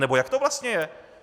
Anebo jak to vlastně je?